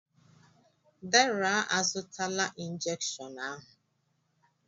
Deraa a zụtala injekshiọn ahụ.